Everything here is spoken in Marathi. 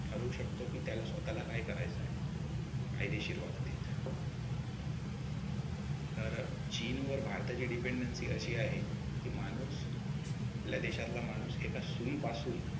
ठरवू शकतो की त्याला स्वतःला काय करायचे आहे कायदेशीर वागणूक तर चीनवर भारताची dependency अशी आहे कि माणूस आपल्या देशातला माणूस एका सुईपासून